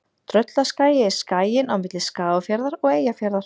Tröllaskagi er skaginn á milli Skagafjarðar og Eyjafjarðar.